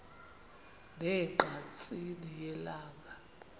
ne ngqatsini yelanga